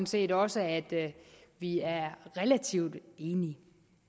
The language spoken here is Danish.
set også at vi er relativt enige